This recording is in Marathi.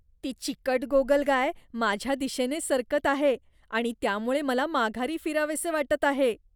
ती चिकट गोगलगाय माझ्या दिशेने सरकत आहे आणि त्यामुळे मला माघारी फिरावेसे वाटत आहे.